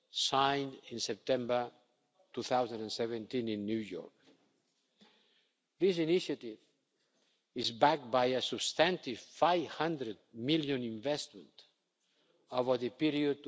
girls, signed in September 2017 in New York. This initiative is backed by a substantive EUR 500 million investment over the period